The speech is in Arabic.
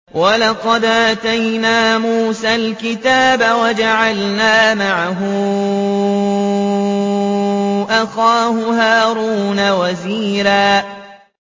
وَلَقَدْ آتَيْنَا مُوسَى الْكِتَابَ وَجَعَلْنَا مَعَهُ أَخَاهُ هَارُونَ وَزِيرًا